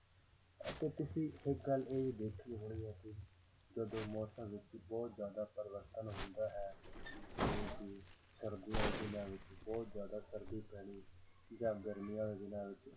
ਅਤੇ ਤੁਸੀਂ ਇੱਕ ਗੱਲ ਇਹ ਦੇਖੀ ਹੋਣੀ ਹੈ ਕਿ ਜਦੋਂ ਮੌਸਮਾਂ ਵਿੱਚ ਬਹੁਤ ਜ਼ਿਆਦਾ ਪਰਿਵਰਤਨ ਹੁੰਦਾ ਹੈ ਜਿਵੇਂ ਕਿ ਸਰਦੀਆਂ ਦੇ ਦਿਨਾਂ ਵਿੱਚ ਬਹੁਤ ਜ਼ਿਆਦਾ ਸਰਦੀ ਪੈਣੀ ਜਾਂ ਗਰਮੀਆਂ ਦੇ ਦਿਨਾਂ ਵਿੱਚ